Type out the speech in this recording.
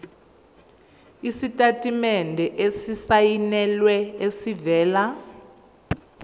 isitatimende esisayinelwe esivela